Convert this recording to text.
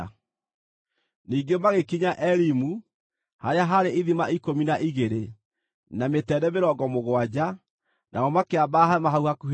Ningĩ magĩkinya Elimu, harĩa haarĩ ithima ikũmi na igĩrĩ, na mĩtende mĩrongo mũgwanja, nao makĩamba hema hau hakuhĩ na maaĩ.